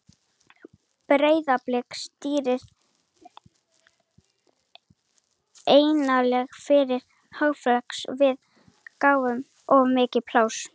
Breiðablik stýrði eiginlega fyrri hálfleiknum og við gáfum þeim of mikið pláss.